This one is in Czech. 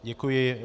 Děkuji.